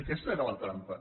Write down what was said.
aquesta era la trampa